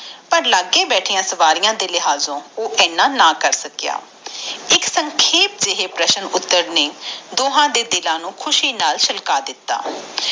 ਪਰ ਲਗੇ ਬੈਠੀ ਸਵਾਰੀਆਂ ਦੇ ਲਿਹਾਜ਼ੋ ਉਹ ਏਦਾਂ ਨਾ ਕਰ ਸਕਿਆ ਇਕ ਸੰਖੇਪਓ ਜਾਇ- ਪ੍ਰਸ਼ਨ ਉਤਾਰ ਨੇ ਓਹਨਾ ਦੇ ਦਿਲ ਨੂੰ ਖੁਸ਼ੀ ਨਾਲ ਫੁਲਕਾ ਦਿਤਾ